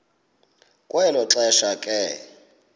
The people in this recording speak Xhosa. kwelo xesha ke